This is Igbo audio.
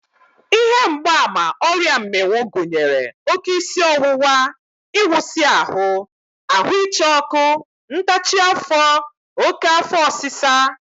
Ihe mgbaàmà ọrịa mmịnwụ gụnyere oké isi ọwụwa, ịwụsị ahụ, ahụ ịcha ọkụ, ntachi afọ, oké afọ ọsịsa